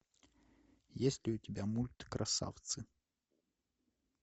есть ли у тебя мульт красавцы